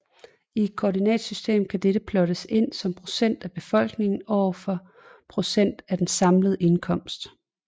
I et koordinatsystem kan dette plottes ind som procent af befolkningen overfor procent af den samlede indkomst